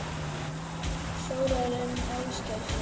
Þórarinn Ásgeirsson?